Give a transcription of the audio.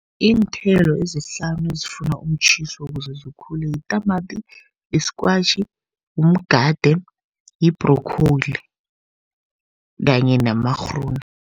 Iinthelo ezihlanu ezifuna umtjhiso ukuze zikhule yitamati, yi-squash, mgade, yi-broccoli kanye namarhunde.